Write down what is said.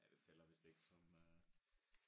Ja det tæller vist ikke som øh